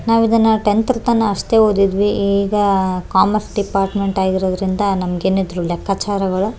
ನಾವು ಇದನ್ನ ಟೆಂತರ್ತನ ಅಷ್ಟೇ ಓದಿದ್ವಿ ಈಗಾ ಕಾಮರ್ಸ್ ಡಿಪಾರ್ಟ್ಮೆಂಟ್ ಆದ್ರಿಂದ ನಮ್ಗೇನಿದ್ರು ಲೆಕ್ಕಚಾರಗಳು --